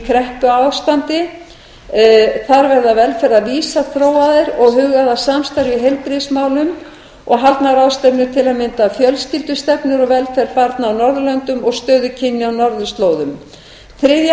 kreppuástandi þar verða velferðarvísar þróaðir og hugað að samstarfi í heilbrigðismálum og haldnar ráðstefnur til að mynda um fjölskyldustefnur og velferð barna á norðurlöndum og stöðu kynjanna á norðurslóðum þriðja